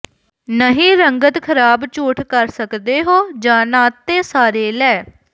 ਨਹੀ ਰੰਗਤ ਖਰਾਬ ਝੂਠ ਕਰ ਸਕਦੇ ਹੋ ਜ ਨਾ ਤੇ ਸਾਰੇ ਲੈ